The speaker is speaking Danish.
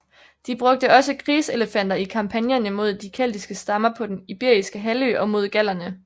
De brugte også krigselefanter i kampagnerne mod de keltiske stammer på den iberiske halvø og mod gallerne